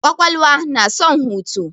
Kwakwalwa na son hutu.